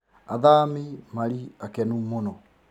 Athami mari akenu mũno